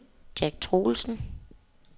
Jack Troelsen